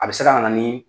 A bɛ se ka na ni